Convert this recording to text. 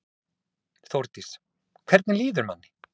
Þórdís: Hvernig líður manni?